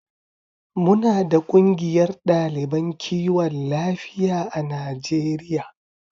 Muna da kungiyar daliban kiwon lafiya a Najeriya.